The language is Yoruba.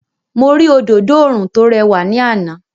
Mo rí òdodo oòrùn tó rẹwà ní àná.